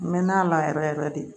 N mɛɛnna a la yɛrɛ yɛrɛ de